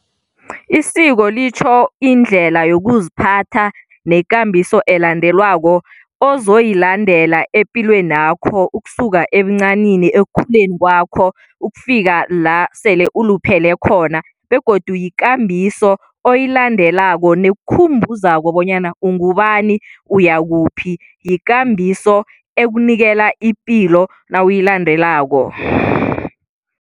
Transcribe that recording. Isiko litjho indlela yokuziphatha nekambiso elandelwako ozoyilandela epilwenakho ukusuka ebuncanini, ekukhuleni kwakho ukufika la sele uluphele khona begodu yikambiso oyilandelako nekukhumbuzako bonyana ungubani, uyakuphi. Yikambiso ekunikela ipilo nawuyilandelako.